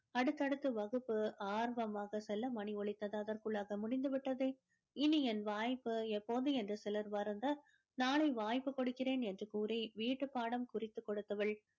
அடுத்தடுத்து வகுப்பு ஆர்வமாக செல்ல மணி ஒலித்தது அதற்குள்ளாக முடிந்து விட்டதே இனி என் வாய்ப்பு எப்போது என்று சிலர் வருந்த நாளை வாய்ப்பு கொடுக்கிறேன் என்று கூறி வீட்டுப்பாடம் குறித்து கொடுத்தவள்